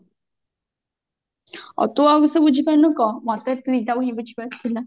ଅ ତୁ ଆଉ କିସ ବୁଝି ପାରିନୁ କ ମତେ ଏଇ ଦିଟା ହିଁ ବୁଝିବାର ଥିଲା